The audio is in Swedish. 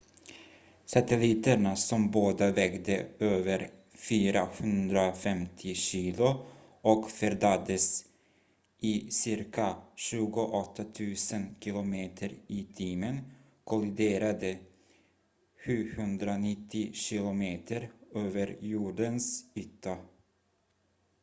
satelliterna som båda vägde över 450 kilo och färdades i cirka 28 000 km/h kolliderade 790 km över jordens yta